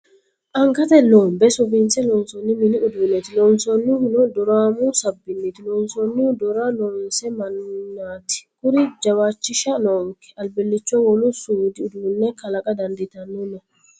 Angate lombe suwinse loonsonni mini uduuneti loonsonihu doramu sabbiniti loosinohu dora loossano mannati kuri jawaachisha noonke albilichono wolu sudi uduune kalaqa dandiittanonna.